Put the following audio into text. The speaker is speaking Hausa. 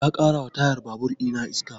Ya ƙara wa tayan babur ina iska